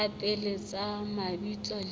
tsa pele tsa mabitso le